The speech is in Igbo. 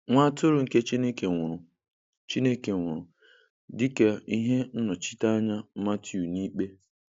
Nwa Atụrụ nke Chineke nwụrụ Chineke nwụrụ dịka ihe nnọchiteanya Matiu n'Ikpe.